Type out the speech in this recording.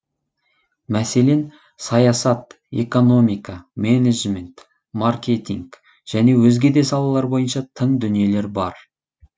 мәселен саясат экономика менеджмент маркетинг және өзге де салалар бойынша тың дүниелер бар